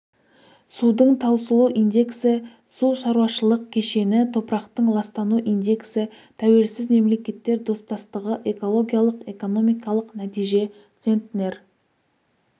судың таусылу индексі су шаруашылық кешені топырақтың ластану индексі тәуелсіз мемлекеттер достастығы экологиялық-экономикалық нәтиже центнер